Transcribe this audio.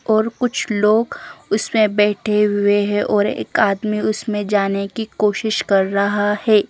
और कुछ लोग उसमे बेठे हुए है और एक आदमी उसमे जाने की कोशिश कर रहा है।